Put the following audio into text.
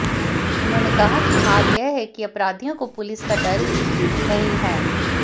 उन्होंने कहा कि हाल यह है कि अपराधियों को पुलिस का डर ही नहीं है